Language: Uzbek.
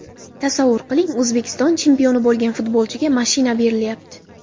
Tasavvur qiling, O‘zbekiston chempioni bo‘lgan futbolchiga mashina berilyapti.